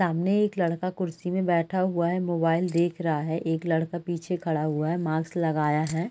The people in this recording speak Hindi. सामने एक लड़का कुर्सी में बैठा हुआ है मोबाइल देख रहा है एक लड़का पीछे खड़ा हुआ है मास्क लगाया है।